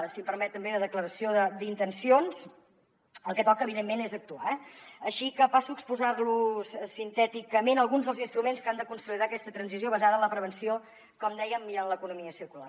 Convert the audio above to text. si em permet també de declaració d’intencions el que toca evidentment és actuar eh així que passo a exposar los sintèticament alguns dels instruments que han de consolidar aquesta transició basada en la prevenció com dèiem i en l’economia circular